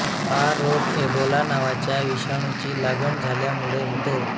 हा रोग एबोला नावाच्या विषाणूची लागण झाल्यामुळे होतो